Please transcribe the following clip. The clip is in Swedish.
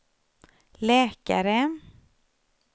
läkare